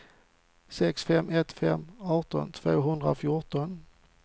sex fem ett fem arton tvåhundrafjorton